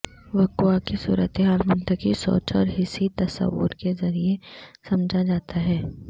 وقوعہ کی صورتحال منطقی سوچ اور حسی تصور کے ذریعے سمجھا جاتا ہے